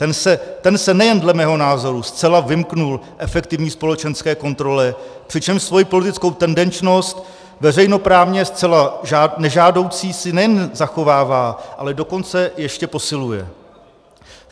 Ten se nejen dle mého názoru zcela vymkl efektivní společenské kontrole, přičemž svoji politickou tendenčnost veřejnoprávně zcela nežádoucí si nejen zachovává, ale dokonce ještě posiluje.